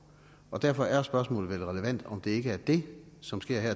derfor er spørgsmålet vel relevant om det ikke er det som sker her